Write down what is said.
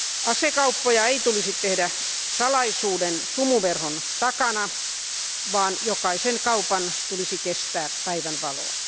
Asekauppoja ei tulisi tehdä salaisuuden sumuverhon takana, vaan jokaisen kaupan tulisi kestää päivänvaloa.